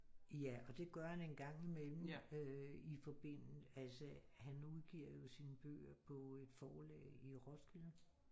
Ja og det gør han en gang imellem øh i forbinde altså han udgiver jo sine bøger på et forlag i Roskilde